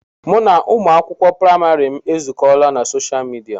Mụ na ụmụ akwụkwọ praịmarị m ezukọọla na soshaal midia.